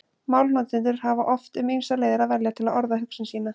Málnotendur hafa oft um ýmsar leiðir að velja til að orða hugsun sína.